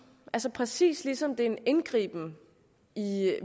altså præcis ligesom det er en indgriben i